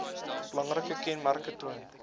belangrike kenmerke toon